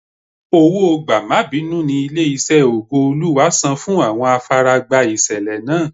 Owó gbà-má-bínú ní ilé-iṣẹ́ Ògo-Olúwa san fún àwọn afaragba ìṣẹ̀lẹ̀ náà.